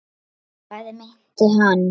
Hvað meinti hann?